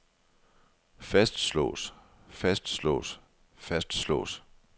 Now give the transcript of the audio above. fastslås fastslås fastslås